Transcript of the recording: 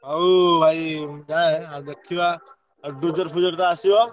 ହଉ ଭାଇ ଯାଏ ଦେଖିବା। ଆସିବ?